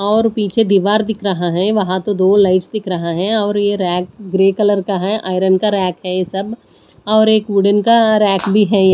और पीछे दीवार दिख रहा है वहां तो दो लाइट्स दिख रहा है और ये रैक ग्रे कलर का है आयरन का रैक है ये सब और एक वुडन का रैक भी है ये--